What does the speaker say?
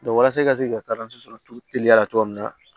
walasa i ka se k'i ka sɔrɔ turu teliya la cogo min na